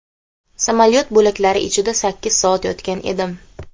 Samolyot bo‘laklari ichida sakkiz soat yotgan edim.